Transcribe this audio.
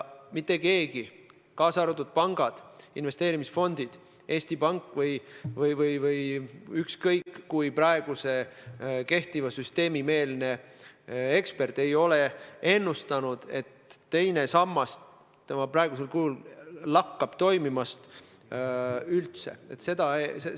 Mitte keegi, kaasa arvatud pangad, investeerimisfondid, Eesti Pank või ükskõik kui kindel praeguse süsteemi meelne ekspert, ei ole ennustanud, et teine sammas tema praegusel kujul lakkab üldse toimimast.